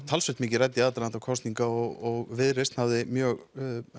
talsvert mikið rædd í aðdraganda kosninganna og Viðreisn hafði mjög